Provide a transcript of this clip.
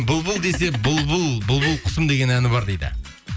бұлбұл десе бұлбұл бұлбұл құсым деген әні бар дейді